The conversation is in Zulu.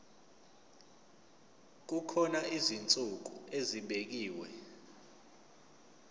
kukhona izinsuku ezibekiwe